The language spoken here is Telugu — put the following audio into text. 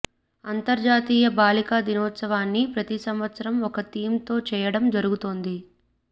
అంతర్జాతీయ బాలికా దినోత్సవాన్ని ప్రతి సంవత్సరం ఒక థీమ్ తో చేయడం జరుగుతోంది